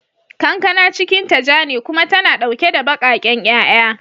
Kankana cikinta ja ne kuma tana dauke da bakaken 'ya'ya.